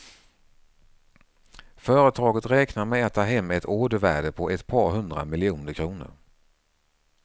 Företaget räknar med att ta hem ett ordervärde på ett par hundra miljoner kronor.